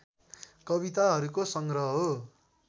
कविताहरूको सङ्ग्रह हो